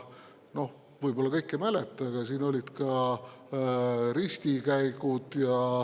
Võib-olla kõik ei mäleta, aga siin olid ka ristikäigud.